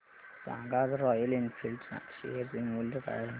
सांगा आज Royal Enfield च्या शेअर चे मूल्य काय आहे